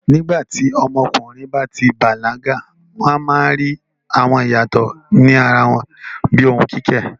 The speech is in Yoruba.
Nígbà tí ọmọkùnrin bá ti bàlágà, wọ́n máa ń rí àwọn ìyàtọ̀ ní ara wọn bíi ohùn kíkẹ̀.